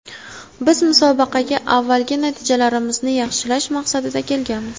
Biz musobaqaga avvalgi natijalarimizni yaxshilash maqsadida kelganmiz.